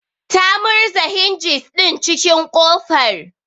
Ta murza hinjis din cikin kofar